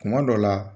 Kuma dɔ la